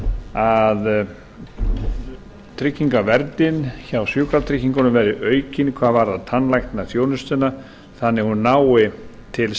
að tryggingaverndin hjá sjúkratryggingunum verði aukin hvað varðar tannlæknaþjónustuna þannig að hún nái til